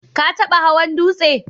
Ka taba hawan dutse